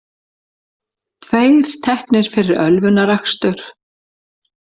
Tveir teknir fyrir ölvunarakstur